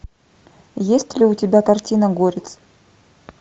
есть ли у тебя картина горец